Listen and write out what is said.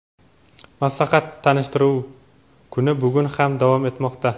maslahat-tanishtiruv kuni bugun ham davom etmoqda.